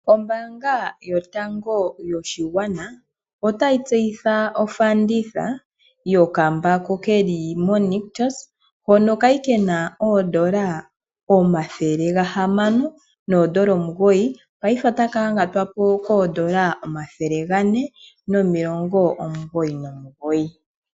Ombaanga yotango yopashigwana otayi tseyitha ofanditha yokambako keli mo nictus hono Kali kena oondola omathele gahamano noondola omugoyi paife otaka yangatwa po koondola omathele gane nomulongo omugoyi nomugoyi.